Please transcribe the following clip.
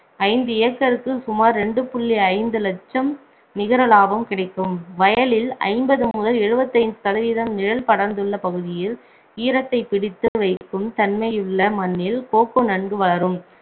ஐந்து acre க்கு சுமார் இரண்டு புள்ளி ஐந்து லட்சம் நிகர லாபம் கிடைக்கும் வயலில் ஐம்பது முதல் எழுபத்தைந்து சதவீதம் நிழல் படர்ந்துள்ள பகுதியில் ஈரத்தைப் பிடித்து வைக்கும் தன்மையுள்ள மண்ணில் கோகோ ந்ன்கு வளரும்